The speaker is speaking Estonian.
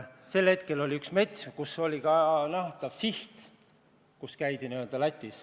Mingil hetkel meil oli mets, kus oli ka nähtav siht: tee Lätti.